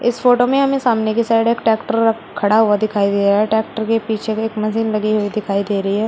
इस फोटो में हमें सामने की साइड एक ट्रैक्टर खड़ा हुआ दिखाई दे रहा है ट्रैक्टर के पीछे के एक मशीन लगी हुई दिखाई दे रही है।